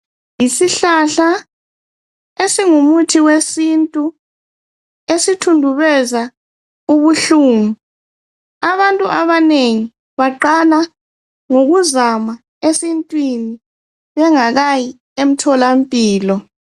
Yisihlahla esingumuthi wesintu esithundubeza ubuhlungu. Abantu abanengi baqala ngokuzama esintwini bengakayi emthola mpilo.